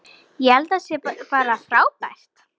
Ég held að það sé bara frábært.